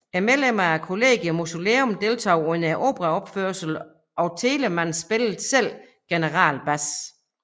Medlemmer af collegium musicum deltog under operaopførelserne og Telemann spillede selv generalbas